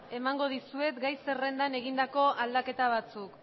emango dizuet gai zerrendan egindako aldaketa batzuk